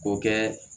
K'o kɛ